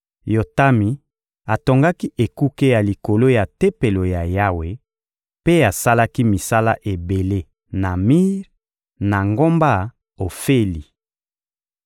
Yotami atongaki ekuke ya likolo ya Tempelo ya Yawe mpe asalaki misala ebele na mir, na ngomba Ofeli.